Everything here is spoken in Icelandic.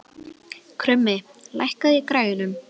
Krummi, lækkaðu í græjunum.